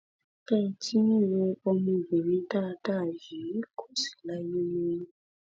bí ẹ ti ń wo ọmọbìnrin dáadáa yìí kò sì láyé mọ